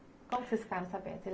Quando vocês ficaram sabendo?